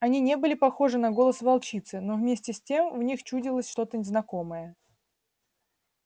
они не были похожи на голос волчицы но вместе с тем в них чудилось что-то знакомое